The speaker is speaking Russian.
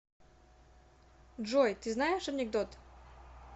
джой ты знаешь анекдот